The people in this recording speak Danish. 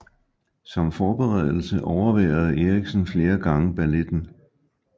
Som forberedelse overværede Eriksen flere gange balletten